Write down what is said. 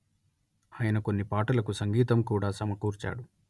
ఆయన కొన్ని పాటలకు సంగీతం కూడా సమకూర్చాడు